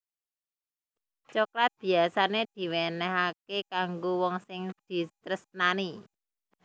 Coklat biyasané diwénéhaké kanggo wong sing ditresnani